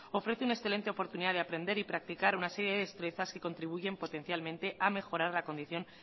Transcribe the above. ofrece una excelente oportunidad de aprender y practicar una serie de destrezas que contribuyen potencialmente a mejorar la condición